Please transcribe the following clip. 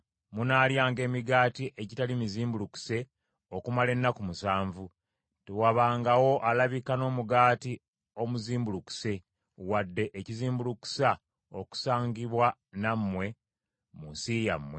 Munaalyanga emigaati egitali mizimbulukuse okumala ennaku musanvu; tewabangawo alabika n’omugaati omuzimbulukuse, wadde ekizimbulukusa okusangibwa nammwe mu nsi yammwe.